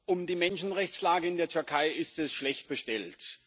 Um die Menschenrechtslage in der Türkei ist es schlecht bestellt.